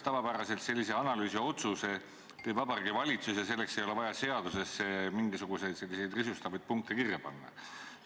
Tavapäraselt sellise analüüsi otsuse teeb Vabariigi Valitsus ja selleks ei ole seadusesse mingisuguseid risustavaid punkte kirja vaja panna.